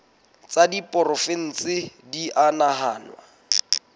tsa diporofensi di a nahanwa